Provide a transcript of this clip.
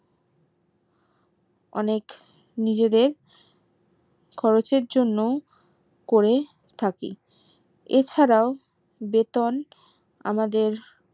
অনেক নিজেদের খরচের জন্যেও করে থাকি এছাড়াও বেতন আমাদের